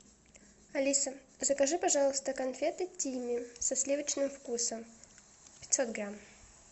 алиса закажи пожалуйста конфеты тимми со сливочным вкусом пятьсот грамм